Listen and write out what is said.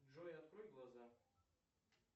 джой открой глаза